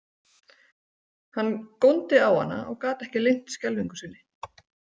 Hann góndi á hana og gat ekki leynt skelfingu sinni.